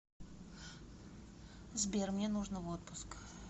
сбер мне нужно в отпуск